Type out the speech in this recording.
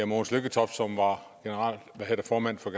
mogens lykketoft som var formand for